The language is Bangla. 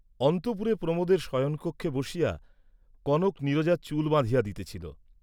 অন্তঃপুরে প্রমােদের শয়নকক্ষে বসিয়া, কনক নীরজার চুল বাঁধিয়া দিতেছিল।